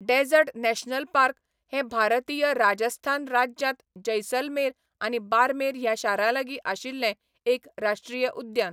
Dessert national park' हें भारतीय राजस्थान राज्यांत जैसलमेर आनी बार्मेर ह्या शारांलागीं आशिल्लें एक राश्ट्रीय उद्यान.